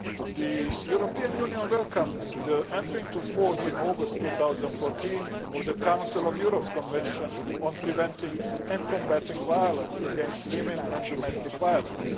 The European Union welcomed the entry into force in August 2014 of the Council of Europe Convention on preventing and combating violence against women and domestic violence.